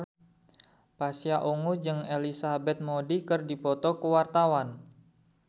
Pasha Ungu jeung Elizabeth Moody keur dipoto ku wartawan